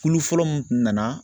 Kulu fɔlɔ mun kun nana